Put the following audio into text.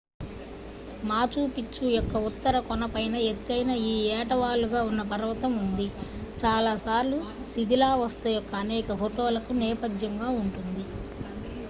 Machu Picchu యొక్క ఉత్తర కొన పైన ఎత్తైన ఈ ఏటవాలు గా ఉన్న పర్వతం ఉంది చాలాసార్లు శిథిలావస్థ యొక్క అనేక ఫోటోలకు నేపథ్యంగా ఉంటుంది